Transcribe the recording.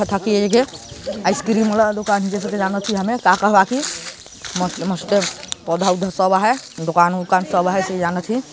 ये आइसक्रीम ल दुकान जेसे की जानथी हमे का का ही की बाकी मस्त--मस्त पौधा वोंधा सब हे दुकान वूकान सब हे इसे जानथी।